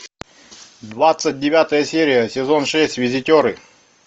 двадцать девятая серия сезон шесть визитеры